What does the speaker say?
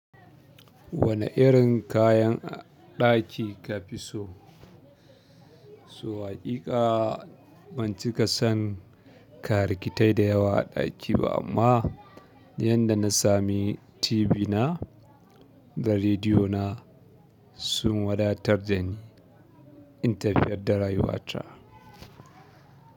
Wane irin kayan ɗaki kafi so. So haƙiƙa ban cika son karikitai da yawa a ɗaki ba amma duk inda na sami TV na da rediyo na sun wadatar dani in tafiyar da rayuwata.